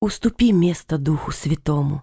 уступи место духу святому